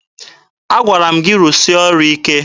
Agwara m gị rụsịa ọrụ ike!